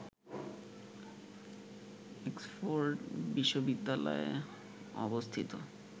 Oxford বিশ্ববিদ্যালয় অবস্থিত